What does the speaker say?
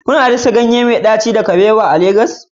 Kuna dasa ganye mai daci da ganyen kabewa a lambun ku da ke Legas?